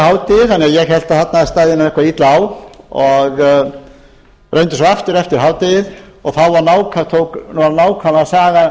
að ég hélt að það stæði eitthvað illa á og reyndi aftur eftir hádegi og endurtók sig þá